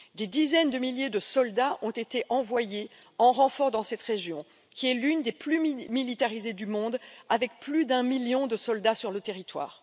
Des dizaines de milliers de soldats ont été envoyés en renfort dans cette région qui est l'une des plus militarisées du monde avec plus d'un million de soldats sur le territoire.